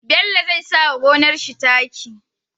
Bello zai sawa gonar shi taki